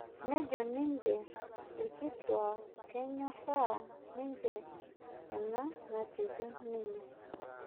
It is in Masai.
nejo ninje irkituak kenyoraa ninje ena natejo ninye